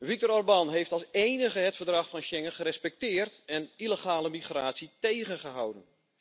Viktor Orbán heeft als enige het Verdrag van Schengen gerespecteerd en illegale migratie tegengehouden.